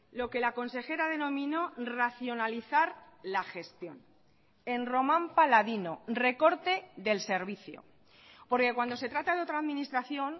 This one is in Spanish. lo que la consejera denominó racionalizar la gestión en román paladino recorte del servicio porque cuando se trata de otra administración